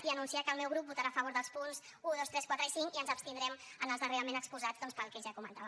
i anunciar que el meu grup votarà a favor dels punts un dos tres quatre i cinc i ens abstindrem en els darrerament exposats doncs pel que ja comentava